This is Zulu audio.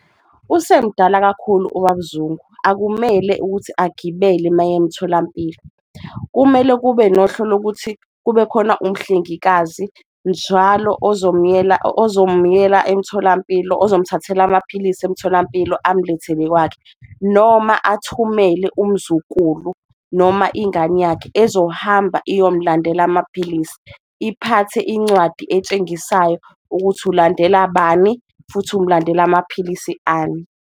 Usemdala kakhulu uBab' Zungu akumele ukuthi agibele mayemtholampilo, kumele kube nohlelo lokuthi kube khona umhlengikazi njalo ozomyela ozomyela emtholampilo, ozomthathela amaphilisi emtholampilo umlethele kwakhe. Noma athumele umzukulu, noma ingane yakhe ezohamba iyomlandela amaphilisi, iphathe incwadi etshengisayo ukuthi ulandela bani futhi umlandela amaphilisi ani.